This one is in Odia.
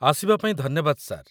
ଆସିବା ପାଇଁ ଧନ୍ୟବାଦ, ସାର୍।